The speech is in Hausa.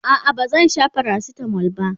a'a ba zan Sha paracetamol ba